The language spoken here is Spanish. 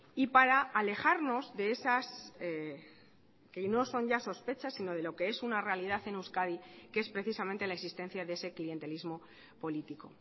y para alejarnos de esas que no son ya sospechas sino de lo que es una realidad en euskadi que es precisamente la existencia de ese clientelismo político